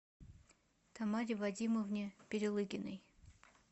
тамаре вадимовне перелыгиной